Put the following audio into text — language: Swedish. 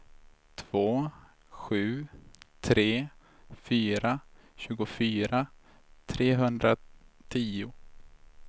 två sju tre fyra tjugofyra trehundratio